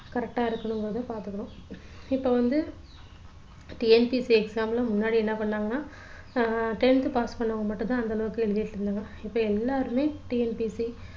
coorect ஆ இருக்கணுங்கறதையும் பாத்துக்கணும் இப்போ வந்து TNPSC exam ல முன்னாடி என்ன பண்ணாங்கன்னா அஹ் tenth pass பண்ணவங்க மட்டும் தான் அந்த அளவுக்கு எழுதிட்டு இருந்தாங்க இப்போ எல்லாருமே TNPSC correct டா இருக்கணுங்கறதையும் பார்த்துக்கணும்